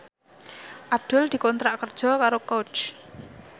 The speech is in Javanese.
Abdul dikontrak kerja karo Coach